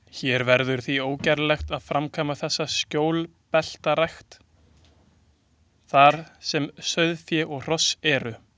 Hér verður því ógerlegt að framkvæma þessa skjólbeltarækt, þar sem sauðfé og hross eru.